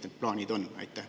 Või mis plaanid on?